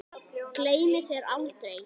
Gleymi þér aldrei.